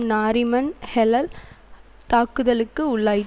நாரிமன் ஹெளல் தாக்குதலுக்கு உள்ளாயி